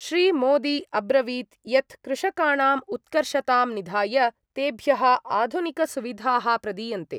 श्री मोदी अब्रवीत् यत् कृषकाणाम् उत्कर्षतां निधाय तेभ्यः आधुनिकसुविधाः प्रदीयन्ते।